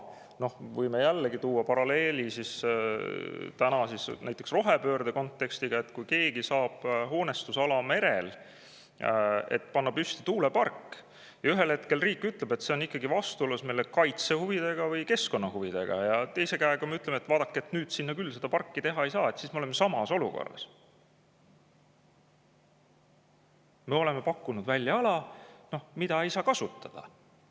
Võime jällegi tuua paralleeli näiteks rohepöörde kontekstiga: kui keegi saab hoonestusala merel, et panna püsti tuulepark, aga ühel hetkel riik ütleb, et see on ikkagi vastuolus meie kaitsehuvidega või keskkonnahuvidega, nüüd sinna küll mingit parki teha ei saa, siis me oleme samas olukorras: me oleme pakkunud välja ala, mida ei saa kasutada.